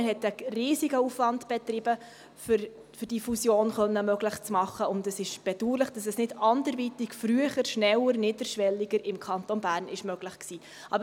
Man hat einen riesigen Aufwand betrieben, um diese Fusion möglich zu machen, und es ist bedauerlich, dass dies im Kanton Bern nicht anderweitig – früher, schneller und niederschwelliger – möglich war.